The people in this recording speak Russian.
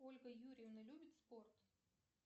ольга юрьевна любит спорт